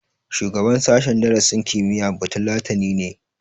Shugaban sashen darasin kimiyya batulatani ne